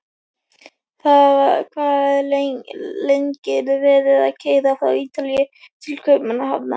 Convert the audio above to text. Hvað er lengi verið að keyra frá Ítalíu til Kaupmannahafnar?